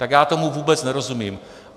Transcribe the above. Tak já tomu vůbec nerozumím.